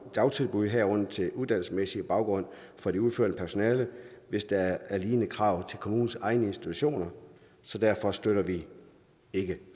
dagtilbud herunder til uddannelsesmæssig baggrund for det udførende personale hvis der er lignende krav til kommunens egne institutioner så derfor støtter vi ikke